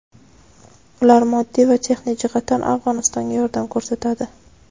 Ular moddiy va texnik jihatdan Afg‘onistonga yordam ko‘rsatadi.